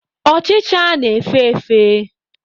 Ọchịcha na-efe efe.